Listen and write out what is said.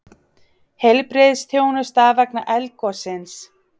Heilbrigðisþjónusta vegna eldgossins